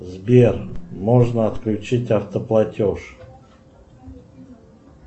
сбер можно отключить автоплатеж